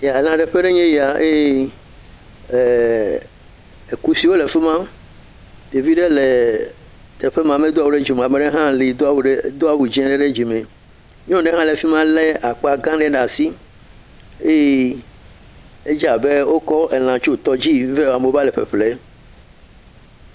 Elãɖeƒe ye nye eye kusiwo le fi ma, ɖevi ɖe le teƒe ma medo awu ɖe dzi me o ame aɖe tse do awu dzɛ̃ aɖe ɖe dzime nyɔnu ɖe tse le fi ma le akpa ga aɖe ɖe asi, edze abe wotsɔ elẽ tso tɔ dzi vɛ amewo va le ƒeƒle.